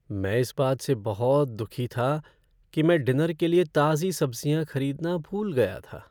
मैं इस बात से बहुत दुखी था कि मैं डिनर के लिए ताज़ी सब्जियां खरीदना भूल गया था।